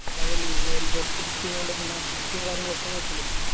അതല്ലി Worldcup കിട്ടിയത് കൊണ്ട് പിന്നെ Assist ഉം കാര്യങ്ങളൊക്കെ നോക്കൂല